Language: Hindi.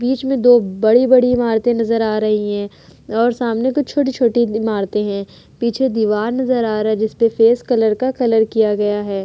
बीच में दो बड़ी-बड़ी इमारते नजर आ रही हैं और सामने दो छोटी-छोटी इमारते हैं। पीछे दीवार नजर आ रहा है जिसपे फेस कलर का कलर किया गया है।